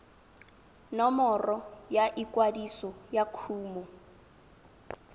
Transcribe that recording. nomoro ya ikwadiso ya kumo